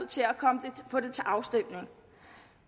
på det til afstemning